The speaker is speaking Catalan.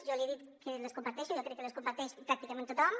jo li he dit que les comparteixo i jo crec que les comparteix pràctica·ment tothom